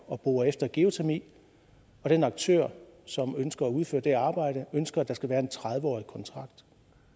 at bore efter geotermi og den aktør som ønsker at udføre det arbejde ønsker at der skal være en tredive årig kontrakt